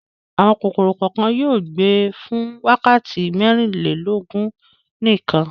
Àwọn kòkòrò kan yóò gbé fún wákàtí mẹ́rìnlélógún nìkan.